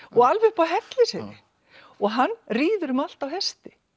og alveg upp á Hellisheiði hann ríður um allt á hesti